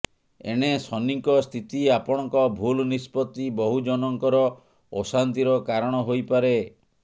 ଏଣେ ଶନିଙ୍କ ସ୍ଥିତି ଆପଣଙ୍କ ଭୁଲ୍ ନିଷ୍ପତ୍ତି ବହୁଜନଙ୍କର ଅଶାନ୍ତିର କାରଣ ହୋଇପାରେ